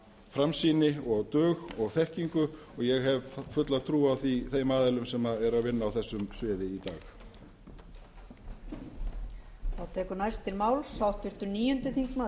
framsýni og dug og þekkingu og ég hef fulla trú á þeim aðilum sem eru að vinna á þessu sviði í dag